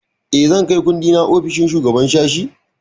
Eh, zan kai kundina ofishin shugaban sashi?